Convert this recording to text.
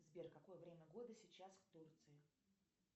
сбер какое время года сейчас в турции